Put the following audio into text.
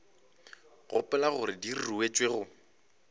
gopola gore di ruetšwe go